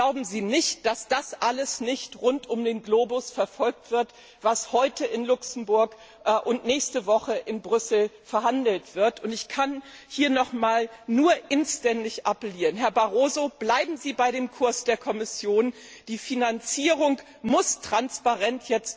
Glauben Sie nicht, dass das alles nicht rund um den Globus verfolgt wird, was heute in Luxemburg und nächste Woche in Brüssel verhandelt wird. Ich kann hier noch einmal nur inständig appellieren Herr Barroso, bleiben Sie bei dem Kurs der Kommission, die Finanzierung muss jetzt transparent